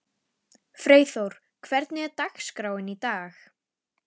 Freyþór, hvernig er dagskráin í dag?